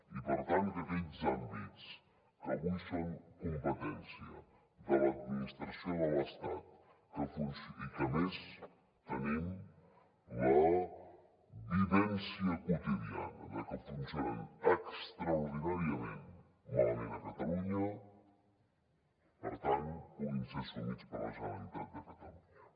i per tant que aquells àmbits que avui són competència de l’administració de l’estat i que a més tenim la vivència quotidiana de que funcionen extraordinàriament malament a catalunya puguin ser assumits per la generalitat de catalunya